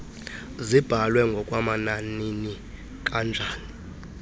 zibhalwe ngokwamananini kanjani